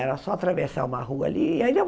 Era só atravessar uma rua ali. Aí era